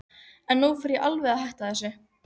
Oft varð mikið fjaðrafok út af slíku.